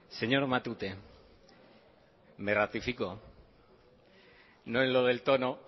señor matute me ratifico no en lo del tono